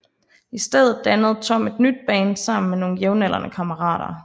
I stedet dannede Tom et nyt band sammen med nogle jævnaldrende kammerater